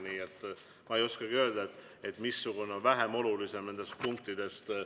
Nii et ma ei oskagi öelda, missugune on vähem olulisem nendest punktidest.